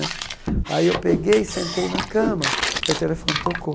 Aí eu peguei e sentei na cama, aí o telefone tocou.